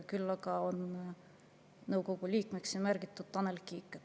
Küll aga on nõukogu liikmeks siin märgitud Tanel Kiik.